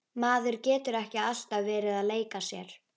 Maður getur ekki alltaf verið að leika sér.